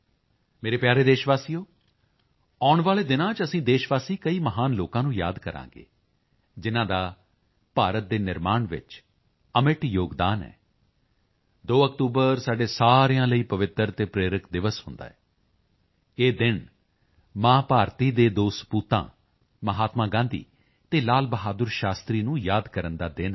ਮੇਰੇ ਪਿਆਰੇ ਦੇਸ਼ਵਾਸੀਓ ਆਉਣ ਵਾਲੇ ਦਿਨਾਂ ਵਿੱਚ ਅਸੀਂ ਦੇਸ਼ਵਾਸੀ ਕਈ ਮਹਾਨ ਲੋਕਾਂ ਨੂੰ ਯਾਦ ਕਰਾਂਗੇ ਜਿਨ੍ਹਾਂ ਦਾ ਭਾਰਤ ਦੇ ਨਿਰਮਾਣ ਵਿੱਚ ਅਮਿੱਟ ਯੋਗਦਾਨ ਹੈ 2 ਅਕਤੂਬਰ ਸਾਡੇ ਸਾਰਿਆਂ ਲਈ ਪਵਿੱਤਰ ਅਤੇ ਪ੍ਰੇਰਕ ਦਿਵਸ ਹੁੰਦਾ ਹੈ ਇਹ ਦਿਨ ਮਾਂ ਭਾਰਤੀ ਦੇ ਦੋ ਸਪੂਤਾਂ ਮਹਾਤਮਾ ਗਾਂਧੀ ਤੇ ਲਾਲ ਬਹਾਦੁਰ ਸ਼ਾਸਤਰੀ ਨੂੰ ਯਾਦ ਕਰਨ ਦਾ ਦਿਨ ਹੈ